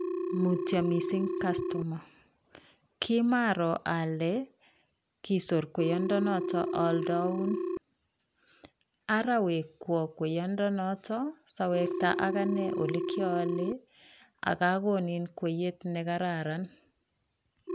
Mutyo mising kastoma, kimaaro ale kisor kweyondenoto aaldaun ara wekwo kweyondonoto sawekta akine ole kiaale aka konin kweyet nekararan.